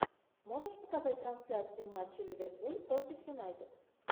можешь показать трансляцию матча ливерпуль против юнайтед